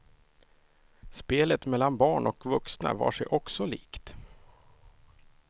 Spelet mellan barn och vuxna var sig också likt.